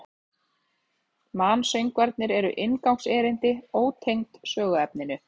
Mansöngvarnir eru inngangserindi, ótengd söguefninu.